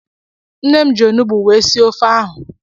Nne m ji onugbu wee sie ofe ahụ.